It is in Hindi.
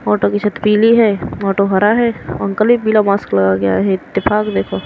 ऑटो की छत पीली है मोटो हरा है अंकल भी पीला मास्क लगा के आए हैं इत्तेफाक देखो --